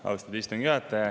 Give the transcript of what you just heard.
Austatud istungi juhataja!